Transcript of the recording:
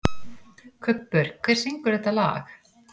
Kubbur, hver syngur þetta lag?